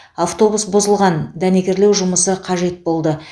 автобус бұзылған дәнекерлеу жұмысы қажет болды